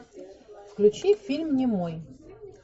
включи фильм немой